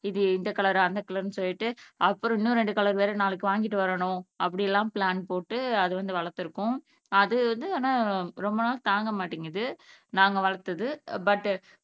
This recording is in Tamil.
இது இந்த கலர் அந்த கலர்ன்னு சொல்லிட்டு அப்புறம் இன்னும் ரெண்டு கலர் வேற நாளைக்கு வாங்கிட்டு வரணும் அப்படி எல்லாம் ப்ளான் போட்டு வளர்த்திருக்கோம் அது வந்து ரொம்ப நாள் தாங்க மாட்டேங்குது நாங்க வளர்த்தது but